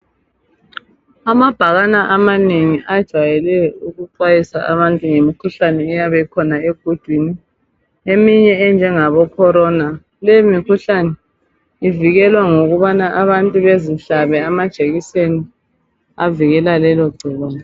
Amabhakane amanengi ajwayele ukuxwayisa abantu ngemikhuhlane eyabe ikhona egudwini eminye enjengabo Corona, leyo mikhuhlane ivikelwa ngokubana abantu bezihlabe amajekiseni avikela lelo gcikwane.